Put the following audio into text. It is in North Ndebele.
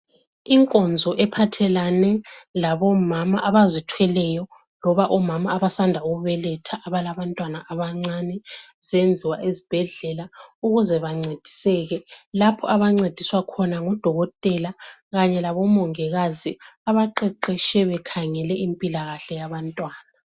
Inkonzo ephathelane labomama abazithweleyo loba omama abasanda kubeletha abalabantwana abancane zenwa esibhedlela ukuze bancediseke lapho abancediswa khona ngudokotela kanye labomongikazi abaqeqeshe bekhangele impilakahle yabantwana.